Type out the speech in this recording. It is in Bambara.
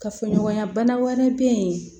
Kafoɲɔgɔnya bana wɛrɛ bɛ yen